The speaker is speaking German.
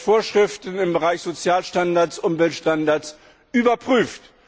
Vorschriften im Bereich Sozial und Umweltstandards überprüft.